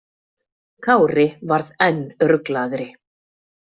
Kári varð enn ruglaðri.